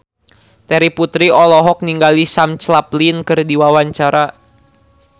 Terry Putri olohok ningali Sam Claflin keur diwawancara